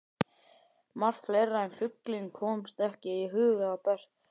Margt fleira en fuglinn komst ekki að í huga Bertu.